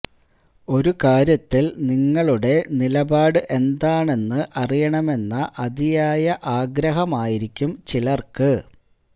ഒരു കാര്യത്തില് നിങ്ങളുടെ നിലപാട് എന്താണെന്ന് അറിയണമെന്ന അതിയായ ആഗ്രഹമായിരിക്കും ചിലര്ക്ക്